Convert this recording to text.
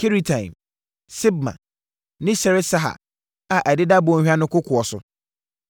Kiriataim, Sibma ne Seret-Sahar, a ɛdeda bɔnhwa no kokoɔ so,